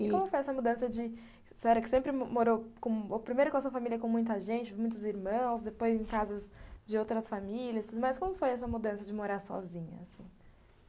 E como foi essa mudança de... a senhora que sempre morou primeiro com a sua família, com muita gente, muitos irmãos, depois em casas de outras famílias, mas como foi essa mudança de morar sozinha, assim?